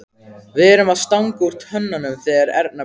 Við erum að stanga úr tönnunum þegar Erna birtist.